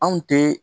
Anw tɛ